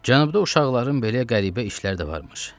Cənubda uşaqların belə qəribə işləri də varmış.